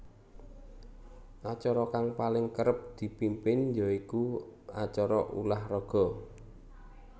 Acara kang paling kerep dipimpin ya iku acara ulah raga